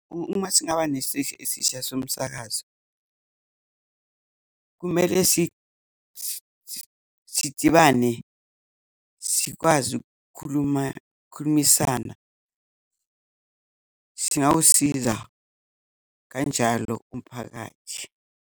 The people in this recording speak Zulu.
Uma singaba nesiteshi esisha somsakazo, kumele sidibane, sikwazi ukukhuluma, ukukhulumisana. Singawusiza kanjalo umphakathi.